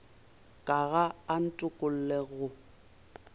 ka ga a ntokolle go